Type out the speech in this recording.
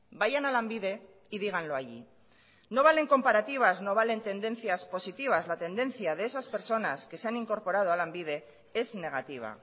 vayan a lanbide y díganlo allí no valen comparativas no valen tendencias positivas la tendencia de esas personas que se han incorporado a lanbide es negativa